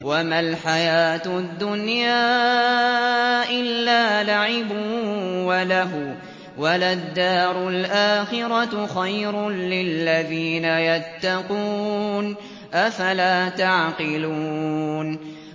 وَمَا الْحَيَاةُ الدُّنْيَا إِلَّا لَعِبٌ وَلَهْوٌ ۖ وَلَلدَّارُ الْآخِرَةُ خَيْرٌ لِّلَّذِينَ يَتَّقُونَ ۗ أَفَلَا تَعْقِلُونَ